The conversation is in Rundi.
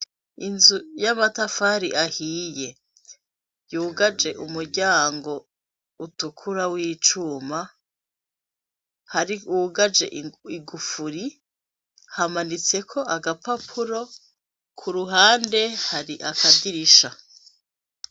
Inzu y'amatafari ahiye, yugaje umuryango utukura w'icuma, wugaje igufuri, hamanitseko agapapuro, ku ruhande hari skadirisha.